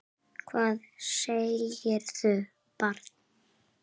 Hvað segirðu barn?